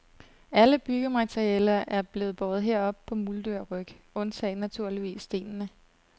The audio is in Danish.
Alle byggematerialer er blevet båret herop må mulddyrryg undtagen naturligvis stenene.